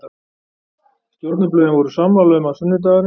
Stjórnarblöðin voru sammála um, að sunnudagurinn